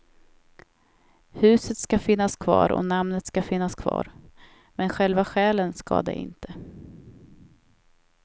Huset ska finnas kvar och namnet ska finnas kvar, men själva själen ska det inte.